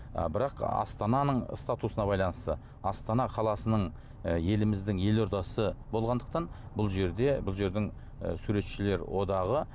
ы бірақ астананың статусына байланысты астана қаласының і еліміздің елордасы болғандықтан бұл жерде бұл жердің і суретшілер одағы